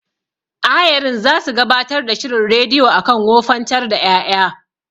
Ayarin zasu gabatar da shirin rediyo akan wofantar da ƴaƴa.